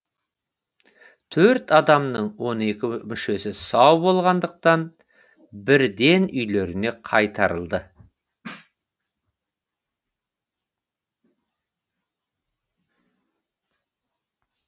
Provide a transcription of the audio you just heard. төрт адамның он екі мүшесі сау болғандықтан бірден үйлеріне қайтарылды